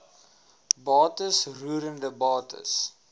bates roerende bates